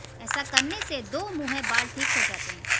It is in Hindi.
ऐसा करने से दोमुंहे बाल ठीक हो जाते हैं